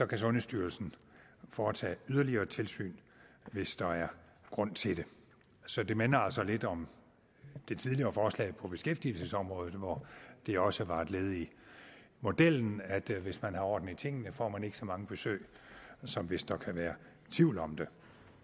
kan sundhedsstyrelsen foretage yderligere tilsyn hvis der er grund til det så det minder altså lidt om det tidligere forslag på beskæftigelsesområdet hvor det også var et led i modellen at hvis man har orden i tingene får man ikke så mange besøg som hvis der kan være tvivl om det